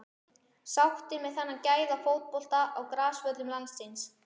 Sáttir með þennan gæða fótbolta á grasvöllum landsins?